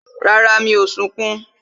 Rárá, mi ò sunkún